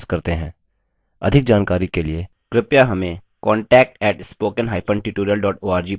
अधिक जानकारी के लिए कृपया contact @spoken hyphen tutorial dot org पर संपर्क करें